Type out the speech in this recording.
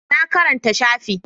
Na karanta shafi